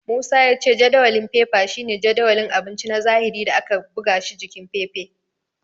Musa ya ce jadawalin fefa shine jadawalin abinci na zahiri da aka buga shi s jikin fefa.